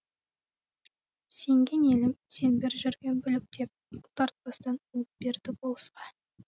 сенген елім сен бір жүрген бүлік деп бұлтартпастан буып берді болысқа